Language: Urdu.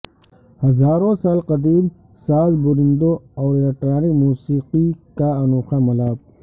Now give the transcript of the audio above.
ہزاروں سال قدیم ساز بوریندو اور الیکٹرانک موسیقی کا انوکھا ملاپ